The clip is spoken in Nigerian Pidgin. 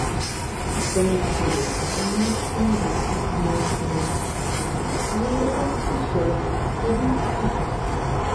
i promise you eh nothing go fit make me to put plenty salt for dis soup